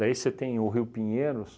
Daí você tem o Rio Pinheiros,